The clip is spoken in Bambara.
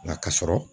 Nka ka sɔrɔ